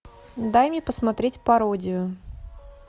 дай мне посмотреть пародию